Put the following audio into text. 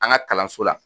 An ka kalanso la